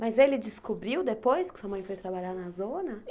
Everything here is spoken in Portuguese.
Mas ele descobriu depois que sua mãe foi trabalhar na zona?